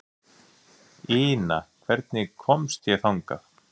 Ina, hvernig kemst ég þangað?